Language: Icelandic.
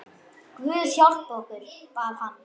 Guð hjálpi okkur, bað hann.